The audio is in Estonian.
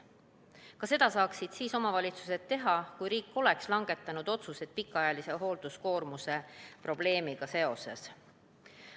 Ka seda saaksid omavalitsused teha siis, kui riik oleks langetanud otsused pikaajalise hoolduskoormuse probleemiga seoses.